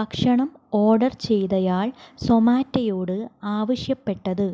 ഭക്ഷണം ഓർഡർ ചെയ്തയാൾ സൊമാറ്റോയോട് ആവശ്യപ്പെട്ടത്